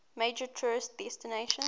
major tourist destination